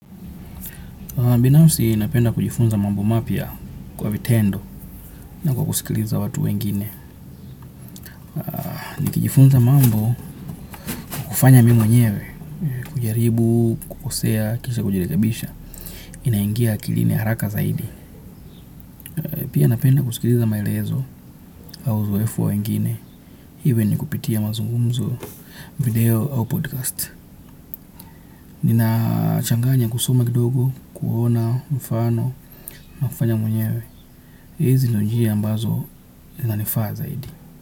Binafsi napenda kujifunza mambo mapya kwa vitendo na kwa skusikiliza watu wengine. Nikijifunza mambo kufanya mi mwenyewe, kujaribu, kukosea, kisha kujirekebisha, inaingia akilini haraka zaidi. Pia napenda kusikiliza maelezo au zuefo wa wengine, even kupitia mazungumzo, video au podcast. Nina changanya kusoma kidogo, kuona mfano, na kufanya mwenyewe. Hizi ndo njia ambazo zina nifaa zaidi.